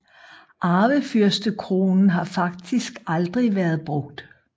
Arvefyrstekronen har faktisk aldrig vært brugt